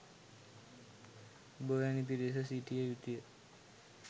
ඔබ වෑනි පිරිස සිටිය යුතුය